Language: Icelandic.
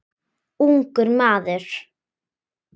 Ungur maður.